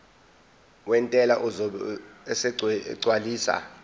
wentela uzobe esegcwalisa